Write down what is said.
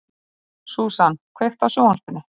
Susan, kveiktu á sjónvarpinu.